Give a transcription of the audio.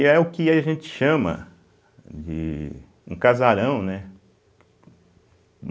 E aí é o que a gente chama de um casarão, né?